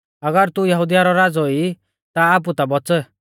अगर तू यहुदिया रौ राज़ौ ई ता आपु ता बौच़